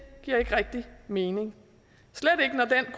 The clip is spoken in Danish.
giver ikke rigtig mening